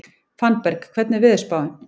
Fannberg, hvernig er veðurspáin?